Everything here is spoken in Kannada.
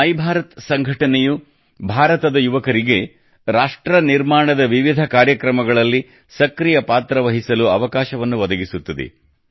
ಮೈಭಾರತ್ ಸಂಘಟನೆಯು ಭಾರತದ ಯುವಕರಿಗೆ ವಿವಿಧ ರಾಷ್ಟ್ರ ನಿರ್ಮಾಣ ಕಾರ್ಯಕ್ರಮಗಳಲ್ಲಿ ಸಕ್ರಿಯ ಪಾತ್ರ ವಹಿಸಲು ಅವಕಾಶವನ್ನು ಒದಗಿಸುತ್ತದೆ